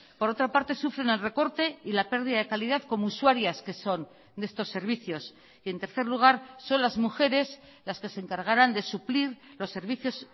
por otra parte sufren el recorte y la pérdida de calidad como usuarias que son de estos servicios y en tercer lugar son las mujeres las que se encargarán de suplir los servicios